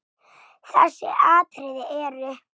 Þessi atriði eru